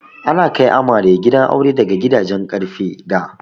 Ana kai amare gidan aure da gadajen ƙarfe da.